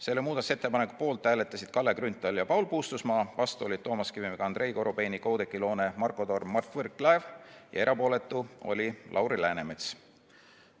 Selle muudatusettepaneku poolt hääletasid Kalle Grünthal ja Paul Puustusmaa, vastu olid Toomas Kivimägi, Andrei Korobeinik, Oudekki Loone, Marko Torm ja Mart Võrklaev, erapooletu oli Lauri Läänemets.